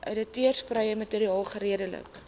outeursregvrye materiaal geredelik